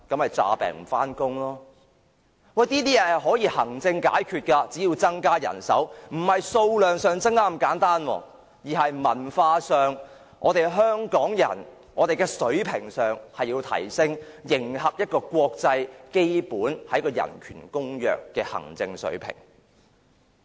面對這些問題，其實也可以經由行政層面解決的，只要增加人手——不單在數量上增加，而是在文化上增加，提升香港人的水平，以迎合一個國際基本人權公約的行政水平。